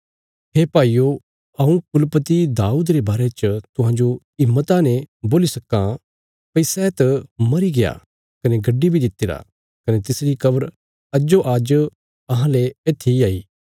हे भाईयो हऊँ कुलपति दाऊद रे बारे च तुहांजो हिम्मता ने बोल्ली सक्कां भई सै त मरी गया कने गड्डी बी दित्तिरा कने तिसरी कब्र अज्जो आज्ज अहांले येत्थी इ हई